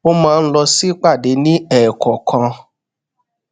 ó máa ń lọ sípàdé ni eekookan